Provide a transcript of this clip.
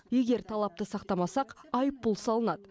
егер талапты сақтамасақ айыппұл салынады